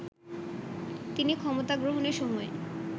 তিনি ক্ষমতা গ্রহণের সময়